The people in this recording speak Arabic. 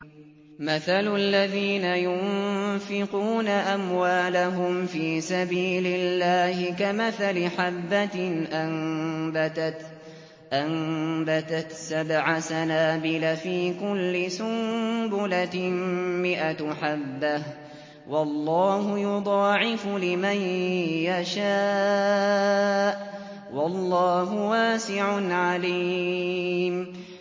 مَّثَلُ الَّذِينَ يُنفِقُونَ أَمْوَالَهُمْ فِي سَبِيلِ اللَّهِ كَمَثَلِ حَبَّةٍ أَنبَتَتْ سَبْعَ سَنَابِلَ فِي كُلِّ سُنبُلَةٍ مِّائَةُ حَبَّةٍ ۗ وَاللَّهُ يُضَاعِفُ لِمَن يَشَاءُ ۗ وَاللَّهُ وَاسِعٌ عَلِيمٌ